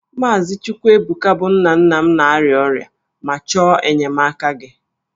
Maazị Chukwuebuka bụ nna nna m na-arịa ọrịa ma chọọ enyemaka gị